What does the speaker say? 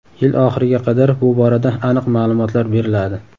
Yil oxiriga qadar bu borada aniq ma’lumotlar beriladi.